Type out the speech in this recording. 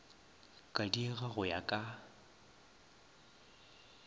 ka diega go ya ka